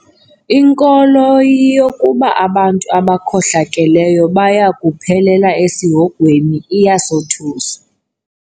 Inkolo yokuba abantu abakhohlakeleyo baya kuphelela esihogweni iyasothusa.